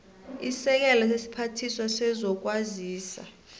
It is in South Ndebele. isekela lesiphathiswa sezokwazisa